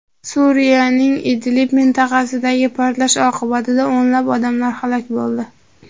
Suriyaning Idlib mintaqasidagi portlash oqibatida o‘nlab odamlar halok bo‘ldi.